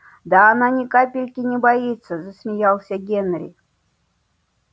да она ни капельки не боится засмеялся генри